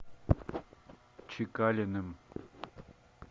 чекалиным